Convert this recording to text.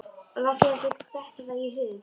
Láttu þér ekki detta það í hug.